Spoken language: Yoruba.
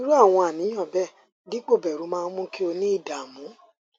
irú àwọn àníyàn bẹẹ dípò bẹru máa ń mú kí o ní ìdààmú